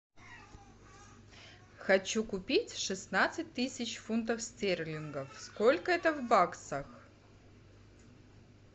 хочу купить шестнадцать тысяч фунтов стерлингов сколько это в баксах